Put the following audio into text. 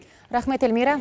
рахмет эльмира